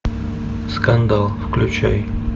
скандал включай